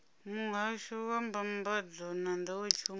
muhasho wa mbambadzo na nḓowetshumo